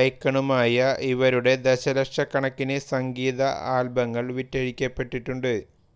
എെക്കണുമായ ഇവരുടെ ദശലക്ഷ കണക്കിന് സംഗീത ആൽബങ്ങൾ വിറ്റഴിക്കപ്പെട്ടിട്ടുണ്ട്